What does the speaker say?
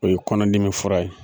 O ye kɔnɔdimi fura ye